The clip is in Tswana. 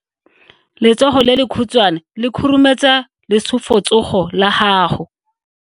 Letsogo le lekhutshwane le khurumetsa lesufutsogo la gago.